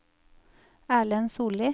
Erlend Solli